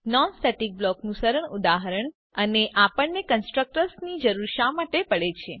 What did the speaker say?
non static block નું સરળ ઉદાહરણ અને આપણને કન્સ્ટ્રકટર્સની જરૂર શા માટે પડે છે